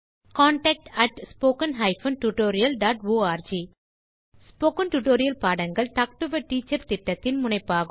contact at spoken hyphen tutorial dot org spoken tutorial பாடங்கள் talk to a teacher திட்டத்தின் முனைப்பாகும்